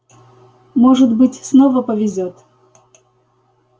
может быть снова повезёт